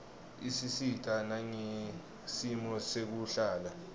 isisita nangesimo sekuhlala